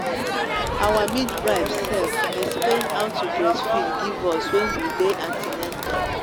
our midwife sef explain how to breastfeed give us when we day an ten atal